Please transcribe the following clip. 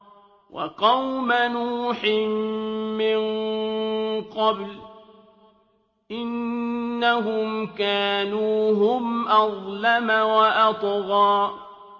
وَقَوْمَ نُوحٍ مِّن قَبْلُ ۖ إِنَّهُمْ كَانُوا هُمْ أَظْلَمَ وَأَطْغَىٰ